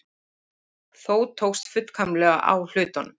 Þó tókst fullkomlega á hlutunum.